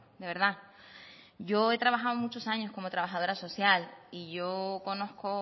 de verdad yo he trabajado muchos años como trabajadora social y yo conozco